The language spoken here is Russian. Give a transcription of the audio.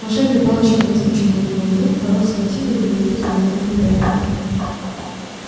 волшебная палочка выскочила у него из рук рон схватил её и выкинул в открытое окно